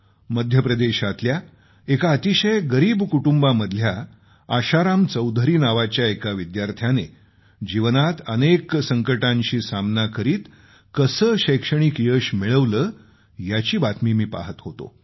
मध्यप्रदेशातल्या एका अतिशय गरीब कुटुंबामधला आशाराम चौधरी नावाच्या एका विद्यार्थ्याने जीवनात अनेक संकटांशी सामना करीत कसे शैक्षणिक यश मिळवले याची बातमी मी पाहत होतो